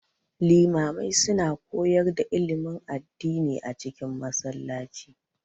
Limamai su na koyar da ilimin addini a cikin Masallaci